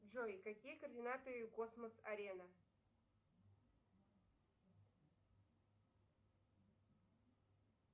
джой какие координаты космос арена